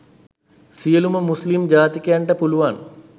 සියලුම මුස්‌ලිම් ජාතිකයන්ට පුළුවන්